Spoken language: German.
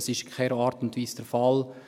Dies ist in keiner Art und Weise der Fall.